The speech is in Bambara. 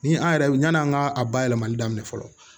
Ni an yɛrɛ yan'an ka a bayɛlɛmali daminɛ fɔlɔ